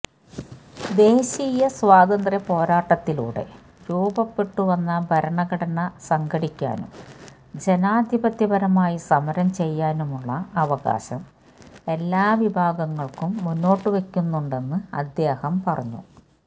ദേശീയ സ്വാതന്ത്ര്യ പോരാട്ടത്തിലൂടെ രൂപപ്പെട്ടുവന്ന ഭരണഘടന സംഘടിക്കാനും ജനാധിപത്യപരമായി സമരം ചെയ്യാനുമുള്ള അവകാശം എല്ലാ വിഭാഗങ്ങള്ക്കും മുന്നോട്ടുവെക്കുന്നുണ്ടെന്ന് അദ്ദേഹം പറഞ്ഞു